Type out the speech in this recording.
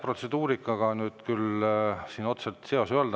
Protseduurikaga siin küll otsest seost ei olnud.